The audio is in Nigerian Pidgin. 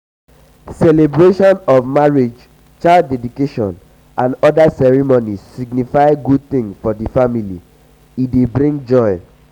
celebration of marriage child deedication and oda ceremonies signify good thing for family e dey bring joy